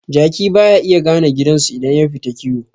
Jaki baya iya gane gidansu idan yafita kiwo